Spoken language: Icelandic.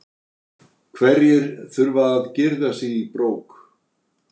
Hverjir þurfa að girða sig í brók?